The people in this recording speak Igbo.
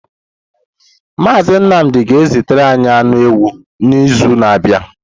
Mazị Nnamdị ga-ezitere anyị anụ ewu n’izu na-abịa.